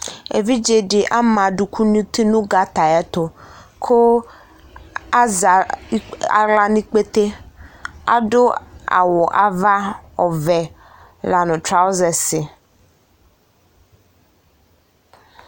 Evidze dɩ ama adʋkʋ nʋ uti nʋ gata ayɛtʋ kʋ azɛ ikp aɣla nʋ ikpete Adʋ awʋ ava ɔvɛ la nʋ trawɔzɛs dɩ